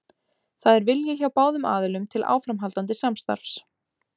Það er vilji hjá báðum aðilum til áframhaldandi samstarfs.